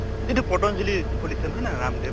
যিটো পতন্জালি খুলিছে নহয় না ৰাম্দেৱ